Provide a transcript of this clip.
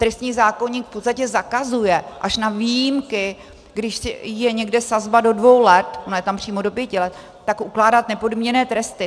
Trestní zákoník v podstatě zakazuje až na výjimky, když je někde sazba do dvou let, ona je tam přímo do pěti let, tak ukládat nepodmíněné tresty.